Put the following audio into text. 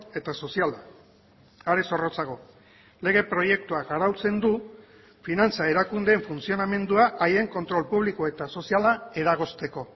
eta soziala are zorrotzago lege proiektuak arautzen du finantza erakundeen funtzionamendua haien kontrol publiko eta soziala eragozteko